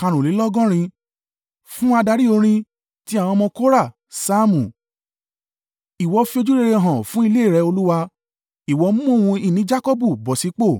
Fún adarí orin. Ti àwọn ọmọ Kora. Saamu. Ìwọ fi ojúrere hàn fún ilé rẹ, Olúwa; ìwọ mú ohun ìní Jakọbu bọ̀ sí ipò.